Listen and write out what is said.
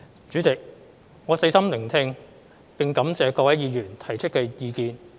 主席，我細心聆聽並感謝各位議員提出的意見。